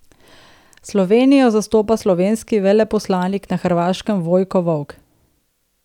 Slovenijo zastopa slovenski veleposlanik na Hrvaškem Vojko Volk.